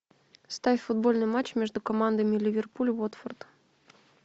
ставь футбольный матч между командами ливерпуль уотфорд